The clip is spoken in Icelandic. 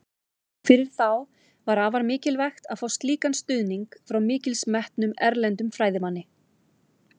Fyrir þá var afar mikilvægt að fá slíkan stuðning frá mikils metnum, erlendum fræðimanni.